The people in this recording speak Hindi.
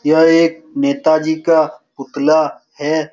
यह एक नेताजी का पुतला है।